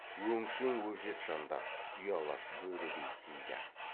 өңшең өжет жандар ұялас бөрідей тиді